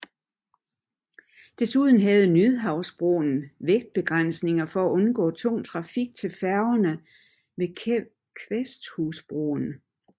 Desuden havde Nyhavnsbroen vægtbegrænsninger for at undgå tung trafik til færgerne ved Kvæsthusbroen